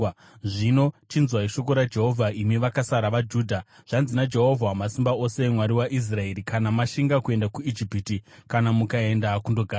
zvino chinzwai shoko raJehovha imi vakasara vaJudha. Zvanzi naJehovha Wamasimba Ose, Mwari waIsraeri, ‘Kana mashinga kuenda kuIjipiti kana mukaenda kundogarako,